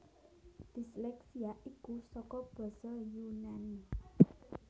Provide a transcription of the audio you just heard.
Disleksia iku saka basa Yunani